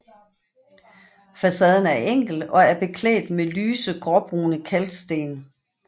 Facaden er enkel og er beklædt med lyse gråbrune kalksten